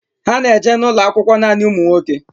Ha na eje n'ulo akwụkwọ nanị ụmụ nwoke